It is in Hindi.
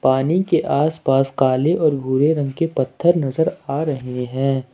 पानी के आसपास काले और भूरे रंग के पत्थर नजर आ रहे हैं।